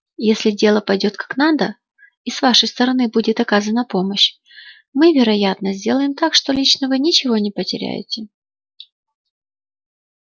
если дело пойдёт как надо и с вашей стороны будет оказана помощь мы вероятно сделаем так что лично вы ничего не потеряете